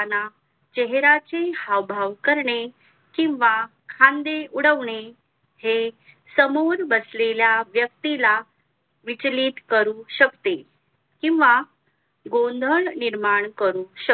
चेहेराचे हावभाव करणे किंवा खांदे उडवणे हे समोर बसलेल्या व्यक्ती ला विचलित करू शकते किंवा गोंधळ निर्माण करू